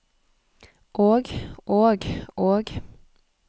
og og og